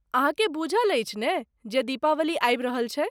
अहाँकेँ बूझल अछि ने जे दीपावली आबि रहल छै!